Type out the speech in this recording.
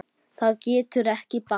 Það getur ekki bakkað.